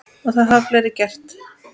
Og það hafa fleiri gert.